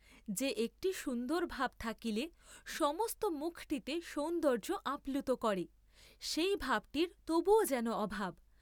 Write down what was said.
যে একটি সুন্দর ভাব থাকিলে সমস্ত মুখটিতে সৌন্দর্য্য আপ্লুত করে, সেই ভাবটির তবুও যেন অভাব।